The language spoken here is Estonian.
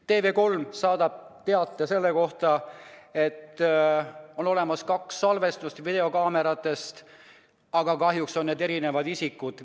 TV3 saadab teate selle kohta, et on olemas kaks videokaamerate salvestust, aga kahjuks on nendel erinevad isikud.